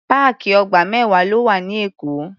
Páàkì ọgbà mẹ́wàá ló wà ní Èkó.